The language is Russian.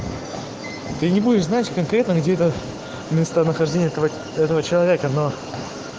ты не будешь знать конкретно никита местонахождение этого человека но